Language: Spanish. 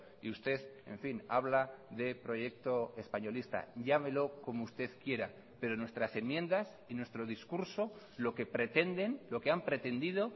y usted en fin habla de proyecto españolista llámelo como usted quiera pero nuestras enmiendas y nuestro discurso lo que pretenden lo que han pretendido